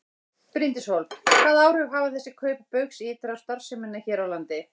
Bryndís Hólm: Hvaða áhrif hafa þessi kaup Baugs ytra á starfsemina hér á landi?